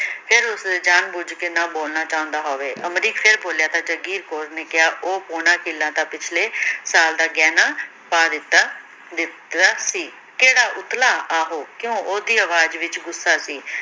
ਫਿਰ ਉਸਨੇ ਜਾਨ ਬੁਝ ਕੇ ਨਾ ਬੋਲਣਾ ਚਾਹੁੰਦਾ ਹੋਵੇ, ਅਮਰੀਕ ਫ਼ਿਰ ਬੋਲਿਆ ਤਾਂ ਜਾਗੀਰ ਕੌਰ ਨੇ ਕਿਹਾ, ਉਹ ਪੌਣਾ ਕਿੱਲਾ ਤਾਂ ਪਿਛਲੇ ਸਾਲ ਦਾ ਗਹਿਣਾ ਪਾ ਦਿੱਤਾ ਦਿੱਤਾ ਸੀ, ਕਿਹੜਾ ਉਤਲਾ, ਆਹੋ, ਕਿਉਂ, ਉਹਦੀ ਆਵਾਜ਼ ਵਿੱਚ ਗੁੱਸਾ ਸੀ।